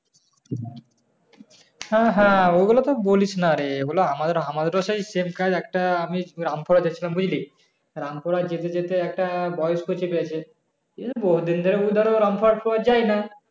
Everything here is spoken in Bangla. হ্যাঁ হ্যাঁ ঐগুলো তো বলিস না রে ঐগুলো আমাদের আমাদের ও সেই same কাজ একটা আমি রামপুরে যাচ্ছিলাম বুঝলি, রামপুরে যেতে যেতে একটা বয়স্ক চেপে গাছে রামপুর হাট যাই না